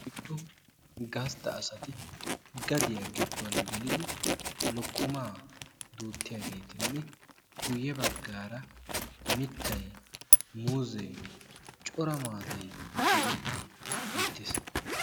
oyddu gastta asati gadiya giddon gelidi lokkomaa duuttiyageetinne guyye baggaara mittay muuzze cora maatay diyage beettes.